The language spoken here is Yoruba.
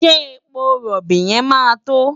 Ṣé epo rọ̀bì yẹn máa tó?